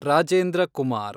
Rajendra Kumar